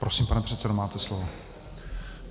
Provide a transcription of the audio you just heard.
Prosím, pane předsedo, máte slovo.